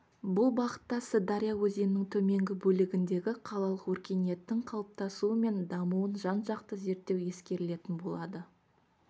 бұл бағытта сырдария өзенінің төменгі бөлігіндегі қалалық өркениеттің қалыптасуы мен дамуын жан-жақты зерттеу ескерілетін болады